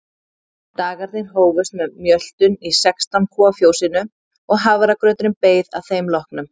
Dagarnir hófust með mjöltum í sextán kúa fjósinu og hafragrauturinn beið að þeim loknum.